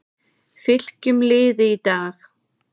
Fylkjum liði í dag